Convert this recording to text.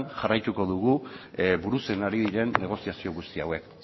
jarraitu dugu burutzen ari diren negoziazio guzti hauek